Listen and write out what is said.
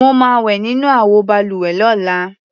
Mo máa wẹ̀ nínú àwọ balùwẹ̀ lọ́la.